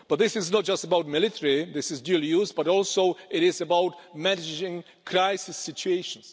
But this is not just about military, this is dual use, but it is also about managing crisis situations.